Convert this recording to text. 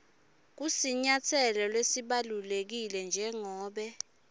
kusinyatselo lesibalulekile njengobe